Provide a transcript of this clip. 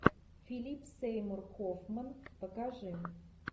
филип сеймур хоффман покажи